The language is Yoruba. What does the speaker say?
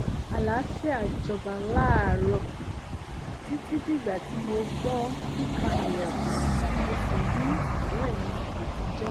àlàáfíà jọba láàárọ̀ títí dìgbà tí mo gbọ́ kíkan ilẹ̀kùn tí mo sì rí ọ̀rẹ́ mi àtijọ́